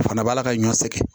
O fana b'a la ka ɲɔ sɛgɛn